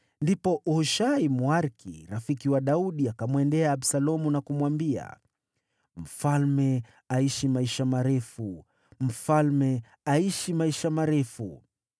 Ndipo Hushai, Mwariki, rafiki wa Daudi, akamwendea Absalomu na kumwambia, “Mfalme aishi maisha marefu! Mfalme aishi maisha marefu!”